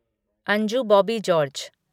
Anju Bobby George